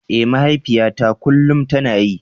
Eh mahaifiyata kullum tana yi.